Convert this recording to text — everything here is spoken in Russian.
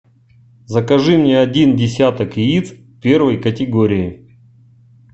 закажи мне один десяток яиц первой категории